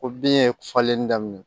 Ko bin ye falenni daminɛ